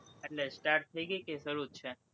એટલે start થઇ ગઈ કે શરુ જ છે?